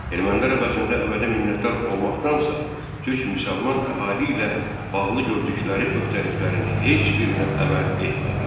Ermənilər əvəzində əbədi minnətdar olmaqdansə, türk müsəlman əhali ilə bağlı gördükləri öhdəliklərin heç birinə əməl etmədilər.